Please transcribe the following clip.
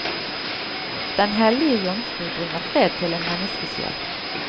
Den hellige jomfru bringer fred til en menneskesjel.